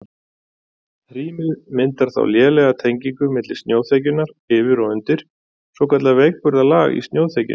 Hrímið myndar þá lélega tengingu milli snjóþekjunnar yfir og undir, svokallað veikburða lag í snjóþekjunni.